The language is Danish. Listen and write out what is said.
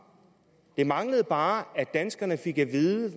det manglede bare at danskerne fik at vide